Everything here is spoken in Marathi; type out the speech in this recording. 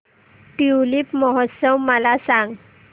ट्यूलिप महोत्सव मला सांग